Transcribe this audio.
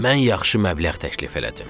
Mən yaxşı məbləğ təklif elədim.